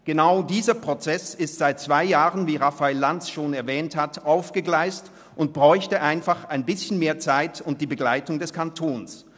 Genau dieser Prozess ist seit einem Jahr aufgegleist und bräuchte einfach ein bisschen mehr Zeit und die Begleitung des Kantons.